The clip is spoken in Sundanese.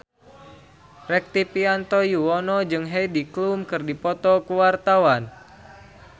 Rektivianto Yoewono jeung Heidi Klum keur dipoto ku wartawan